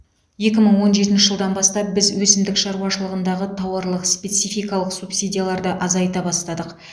екі мың он жетінші жылдан бастап біз өсімдік шаруашылығындағы тауарлық спецификалық субсидияларды азайта бастадық